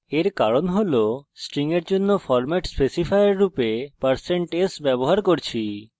এর কারণ হল আমরা string এর জন্য ফরম্যাট specifier রূপে % s ব্যবহার করেছি